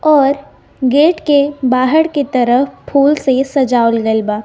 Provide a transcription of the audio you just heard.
और गेट के बाहर की तरफ फूल से ।